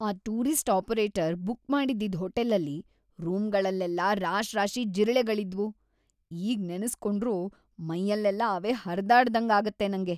ಆ tourist operator book ಮಾಡಿದ್ದಿದ್ ಹೋಟೆಲಲ್ಲಿ ರೂಂಗಳಲ್ಲೆಲ್ಲ ರಾಶ್ರಾಶಿ ಜಿರಳೆಗಳಿದ್ವು. ಈಗ್‌ ನೆನುಸ್ಕೊಂಡ್ರು ಮೈಯಲ್ಲೆಲ್ಲ ಅವೇ ಹರ್ದಾಡ್ದಂಗಾಗತ್ತೆ ನಂಗೆ.